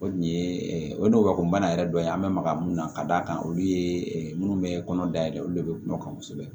O dun ye o ye ngɔbɛ kɔnɔnbana yɛrɛ dɔ ye an bɛ maga mun na ka d'a kan olu ye minnu bɛ kɔnɔ dayɛlɛ olu le bɛ kuma kan kosɛbɛ